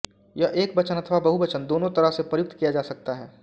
यह एकवचन अथवा बहुवचन दोनों तरह से प्रयुक्त किया जा सकता है